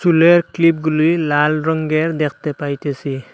চুলের ক্লিপগুলি লাল রঙ্গের দেখতে পাইতেসি।